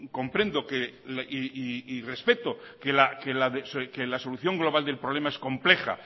comprendo y respeto que la solución global del problema es compleja